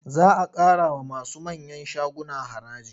Za a ƙarawa masu manyan shaguna haraji.